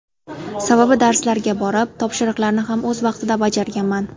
Sababi darslarga borib, topshiriqlarni ham o‘z vaqtida bajarganman.